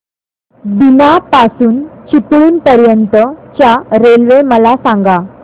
बीना पासून चिपळूण पर्यंत च्या रेल्वे मला सांगा